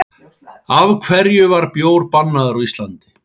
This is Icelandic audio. Af hverju var bjór bannaður á Íslandi?